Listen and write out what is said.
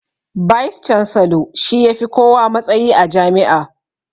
"Vice chancellor" shi ya fi kowa matsayi a jami'a